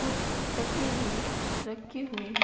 कुछ तकिया भी रखे हुए हैं।